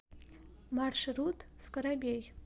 маршрут скарабей